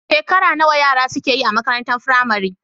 Shekara nawa yara suke yi a makarantar firamare?